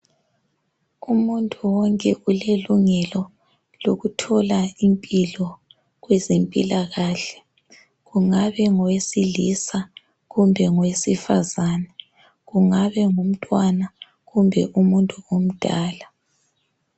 Umuntu wonke ulelungelo lokuthola impilo kwezempilakahle kungabe ngowesilisa kumbe ngowesifazane, kungabe ngumntwana kumbe umuntu omdala